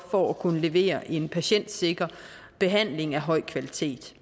for at kunne levere en patientsikker behandling af høj kvalitet